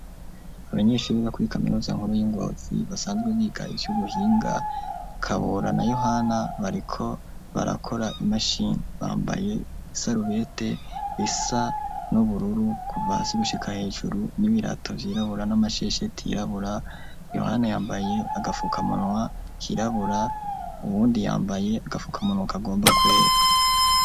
Abanyeshure bo kuri kaminuza nkuru y'i Ngozi basanzwe biga ivy'ubuhinga, Kabora na Yohana bariko barakora imashini, bambaye isarubeti isa n'ubururu kuva hasi gushika hejuru n'ibirato vyirabura n'amashesheti yirabura, Yohana yambaye agafukamunwa kirabura uwundi yambaye agafukamunwa kagomba kwera.